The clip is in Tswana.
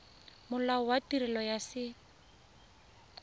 molao wa tirelo ya set